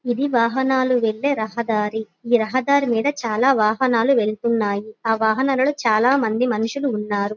ఇది వాహనాలు వెళ్లే రహదారి ఈ రహదారి మీద చాలా వాహనాలు వెళ్తున్నాయి ఆ వాహనాలలో చాలా మంది మనుసులు ఉన్నారు.